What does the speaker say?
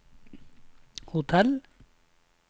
hotell